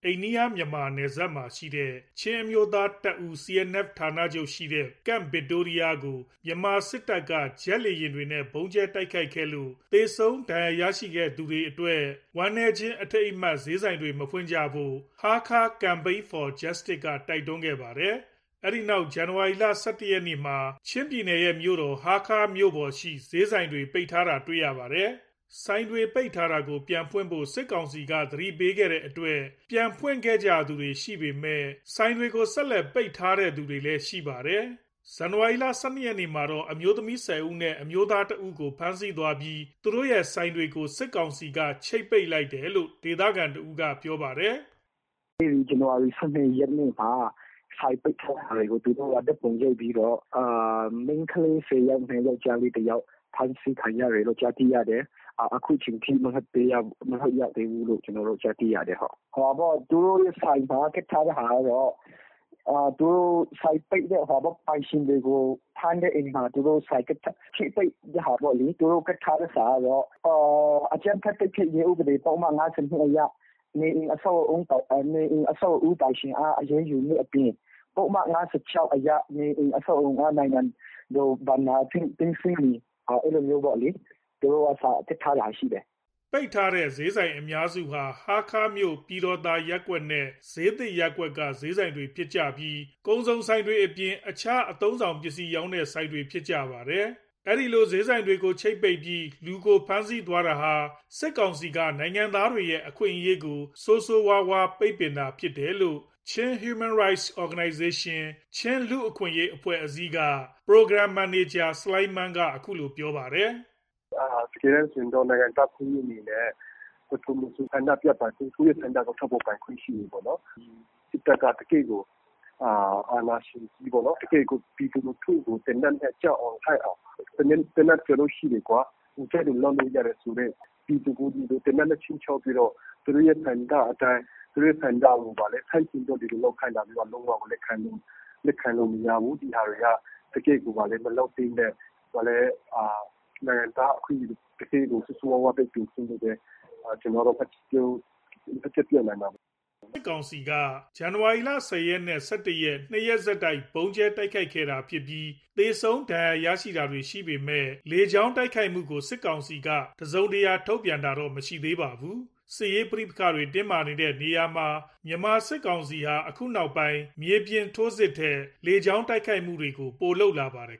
အိန္ဒိယ-မြန်မာနယ်စပ်မှာရှိတဲ့ ချင်းအမျိုးသားတပ်ဦး CNF ဌာနချုပ်ရှိတဲ့ Camp Victoria ကို မြန်မာစစ်တပ်က ဂျက်လေ ယာဉ်တွေနဲ့ ဗုံးကြဲတိုက်ခိုက်ခဲ့လို့ သေဆုံးဒဏ်ရာရရှိတဲ့သူတွေအတွက် ဝမ်းနည်းခြင်းအထိမ်းအမှတ် ဈေးဆိုင်တွေ မဖွင့်ဖို့ Hakha Campaign For Justice က တိုက်တွန်းခဲ့ပါတယ်။ အဲ့ဒီနောက် ဇန်နဝါရီ ၁၁ ရက်မှာ ချင်းပြည်နယ်ရဲ့ မြို့တော်ဖြစ်တဲ့ ဟားခါးမြို့ပေါ် ဈေးဆိုင်တွေ ပိတ်ထားတာတွေ့ရပါတယ်။ ဆိုင်တွေပိတ်ထားတာကို ပြန်ဖွင့်ဖို့ စစ်ကောင်စီက သတိပေးခဲ့လို့ ပြန်ဖွင့်တဲ့သူတွေရှိပေမယ့် ဆက်ပိတ်ထားသူတွေလည်းရှိပါတယ်။ ဇန်နဝါရီ ၁၂ ရက်မှာတော့ အမျိုးသမီး ၁၀ ဦးနဲ့ အမျိုးသား ၁ ဦးကို ဖမ်းဆီးသွားပြီး သူတို့ရဲ့ဆိုင်တွေကို စစ်ကောင်စီက ချိတ်ပိတ်ခဲ့တယ်လို့ ဒေသခံတဦးက ပြောပါတယ်။ “အဲ့ဒီဇန်နဝါရီ ၁၂ ရက်နေ့မှာ ဆိုင်ပိတ်ထားတဲ့ဟာတွေကို သူတို့ကဓာတ်ပုံရိုက်ပြီးတော့ မိန်းကလေး ၁၀ ယောက်နဲ့ ယောက်ကျားလေး ၁ ယောက် ဖမ်းဆီးခံရတယ်လို့ ကြားသိရတယ်။ အခုချိန်ထိ မလွှတ်ရသေးဘူးလို့ ကြားသိရတယ်။ သူတို့ရဲ့ ဆိုင်မှာ ကပ်ထားတဲ့ဟာကတော့ ဆိုင်ပိတ်တဲ့ပိုင်ရှင်တွေကို ဖမ်းတဲ့၊ ချိတ်ပိတ်တဲ့ဟာပေါ့လေ။ သူတို့ကပ်ထားတဲ့စာကတော့ “အကြမ်းဖက်တိုက်ဖျက်ရေး ပုဒ်မ ၅၂ အရ နေအိမ်၊ အဆောက်အဦးပိုင်ရှင်အား အရေးယူမယ့်အပြင် ပုဒ်မ ၅၆ အရ နေအိမ်၊ အဆောက်အအုံအား နိုင်ငံတော်ဘဏ္ဍာအဖြစ် သိမ်းဆည်းမည်။” အဲ့လိုစာကပ်ထားတာရှိတယ်။” ပိတ်ထားတဲ့ ဈေးဆိုင်အများစုဟာ ဟားခါးမြို့ ပြည်တော်သာရပ်ကွက်နဲ့ ဈေးသစ်ရပ်ကွက်က ဈေးဆိုင်တွေဖြစ်ပြီး ကုန်စုံဆိုင်တွေအပြင် အခြားအသုံးအဆောင်ပစ္စည်းရောင်းတဲ့ဆိုင်တွေဖြစ်ကြပါတယ်။ ဒီလိုဈေးဆိုင်ကိုချိတ်ပိတ်ပြီး လူကို ဖမ်းဆီးသွားတာဟာ စစ်ကောင်စီက နိုင်ငံသားတွေရဲ့အခွင့်အရေးကို ဆိုးဆိုးရွားရွား ပိတ်ပင်တာဖြစ်တယ်လို့ Chin Human Rights Organization က Program မန်နေဂျာ ဆလိုင်းမန်က အခုလို ပြောပါတယ်။ “တကယ်တန်းဆို နိုင်ငံသားအခွင့်အရေးအနေနဲ့ ဘယ်သူမဆိုဆန္ဒပြပိုင်ခွင့်၊ သူ့ရဲ့ဆန္ဒကို ထုတ်ဖော်ပိုင်ခွင့်ရှိတယ်ပေါ့နော်။ စစ်တပ်က တကယ့်ကို အာဏာရှင်ကြီးပေါ့နော်။ တကယ့်ကို ပြည်သူလူထုကို သေနတ်နဲ့ ကြောက်အောင်၊ လန့်အောင် သေနတ်ရှိတယ်၊ ကြိုက်သလိုလုပ်လို့ရတယ်ဆိုတဲ့ ပြည်သူကို သေနတ်နဲ့ခြိမ်းခြောက်ပြီးတော့ သူတို့ရဲ့ဆန္ဒအတိုင်း ဆန္ဒကိုဆန့်ကျင်သလိုလုပ်ခိုင်းတာ လုံးဝကို လက်ခံလို့မရဘူး။ ဒီဟာတွေက တကယ့်ကို မလုပ်သင့်တဲ့ နိုင်ငံသား အခွင့်အရေးကို ဆိုးဆိုးရွားရွား ပိတ်ပင်ခြင်းလို့ပဲ ပြောနိုင်ပါတယ်။” မြန်မာစစ်တပ်ဟာ CNF ဌာနချုပ်ကို ဇန်နဝါရီ ၁၀ ရက်နဲ့ ဇန်နဝါရီ ၁၁ ရက် ညနေပိုင်းမှာ ၂ ရက်ဆက်တိုက် ဗုံးကြဲတိုက်ခိုက်ခဲ့ပြီး သေဆုံး ဒဏ်ရာရတာတွေရှိခဲ့ပေမယ့် လေကြောင်းတိုက်ခိုက်မှုကို စစ်ကောင်စီဘက်က တစုံတရာ သတင်းထုတ်ပြန်တာ မရှိသေးပါဘူး။ စစ်ရေးပဋိပက္ခတွေတင်းမာနေတဲ့နေရာတွေမှာ မြန်မာစစ်ကောင်စီဟာ အခုနောက်ပိုင်း မြေပြင်ထိုးစစ်ထက် လေကြောင်းတိုက်ခိုက်မှုတွေကိုပိုလုပ်လာပါတယ်